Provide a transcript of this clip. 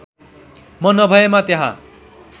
म नभएमा त्यहाँ